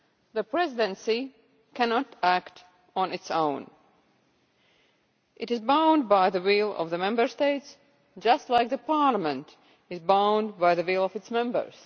The Presidency cannot act on its own it is bound by the will of the Member States, just as the Parliament is bound by the will of its Members.